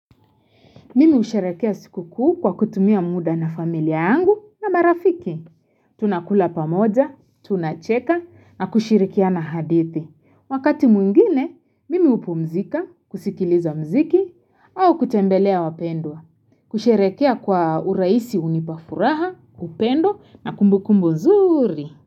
Mimi husherehekea siku kuu kwa kutumia muda na familia yangu na marafiki. Tunakula pamoja, tunacheka na kushirikiana hadithi. Wakati mwingine, mimi hupumzika, kusikiliza muziki au kutembelea wapendwa. Kusherehekea kwa uraisi hunipa furaha, upendo na kumbukumbu zuri.